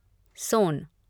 सोन